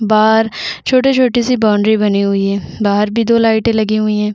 बाहर छोटी छोटी सी बॉउंड्री बनी हुई है बाहर भी दो लाइटे लगी हुई है।